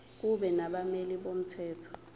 kube nabameli bomthetho